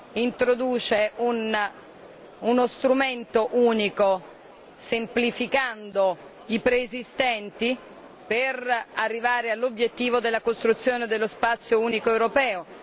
e introduce uno strumento unico, semplificando i preesistenti, per arrivare all'obiettivo della costruzione dello spazio unico europeo.